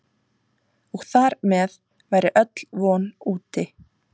Og þar með væri öll von úti.